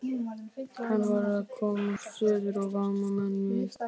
Hann varð að komast suður og vara menn við.